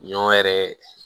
Ɲɔ yɛrɛ